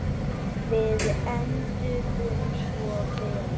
Við enduðum svo vel.